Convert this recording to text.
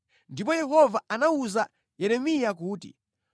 Ndipo Yehova anawuza Yeremiya kuti,